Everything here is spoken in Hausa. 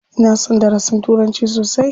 Ina son darasin turanci sosai.